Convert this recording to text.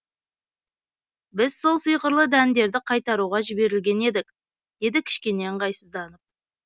біз сол сиқырлы дәндерді қайтаруға жіберілген едік деді кішкене ыңғайсызданып